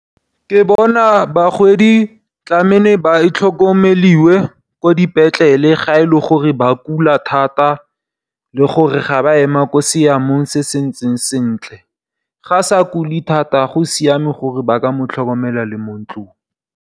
Ke bona bagodi tlamele ba tlhokomelwe ko dipetlele ga e le gore ba kula thata le gore ga ba sa ema mo seemeng se se ntseng sentle. Ga sa kule thata go siame gore ba ka mo tlhokomela le mo ntlong.